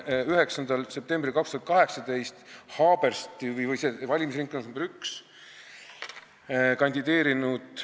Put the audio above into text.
9. septembril 2018 oli selles valimisringkonnas nr 1 kandideerinud ...